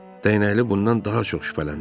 Dəyənəkli bundan daha çox şübhələndi.